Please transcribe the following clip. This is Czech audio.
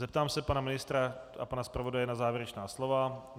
Zeptám se pana ministra a pana zpravodaje na závěrečná slova.